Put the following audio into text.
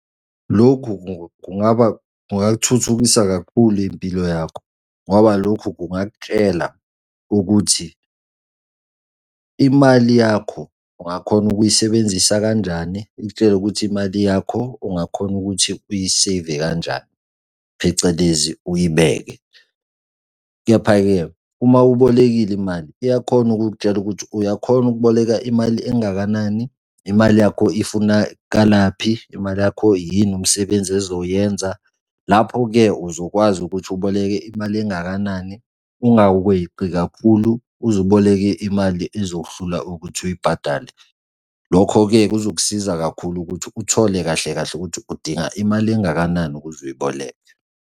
Lokhu kungaba kungakuthuthukisa kakhulu impilo yakho, ngoba lokhu kungakutshela ukuthi imali yakho ungakhona ukuyisebenzisa kanjani, ikutshele ukuthi imali yakho ungakhona ukuthi uyiseyive kanjani, phecelezi uyibeke. Kepha-ke uma ubolekile imali, uyakhona ukukutshela ukuthi uyakhona ukuboleka imali engakanani? Imali yakho ifunakalaphi? Imali yakho yini umsebenzi ezoyenza? Lapho-ke uzokwazi ukuthi uboleke imali engakanani ungaweqi kakhulu uze uboleke imali ezokuhlula ukuthi uyibhadale. Lokho-ke kuzokusiza kakhulu ukuthi uthole kahle kahle ukuthi udinga imali engakanani ukuze uyiboleke.